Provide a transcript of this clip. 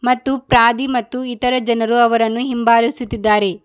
ಮತ್ತು ಪ್ರಾದಿ ಮತ್ತು ಇತರು ಜನರು ಅವರನ್ನು ಹಿಂಭಾಲಿಸುತ್ತಿದ್ದಾರೆ.